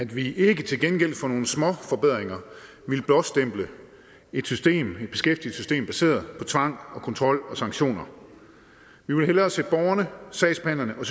vi ikke til gengæld for nogle småforbedringer ville blåstemple et beskæftigelsessystem baseret på tvang og kontrol og sanktioner vi vil hellere sætte borgerne sagsbehandlerne og